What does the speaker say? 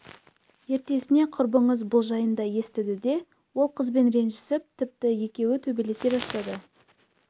ертесіне құрбыңыз бұл жайында естіді де ол қызбен ренжісіп тіпті екеуі төбелесе бастады